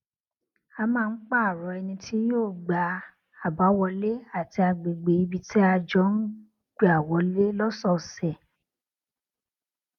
a máa ń pààrò ẹni tí yóò gbá àbáwọlé àti agbègbè ibi tí a jọ ń gbà wọlé lósòòsè